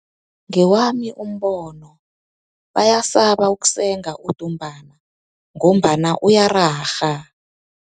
Ngewami umbono, bayasaba ukusenga udumbana ngombana uyararha.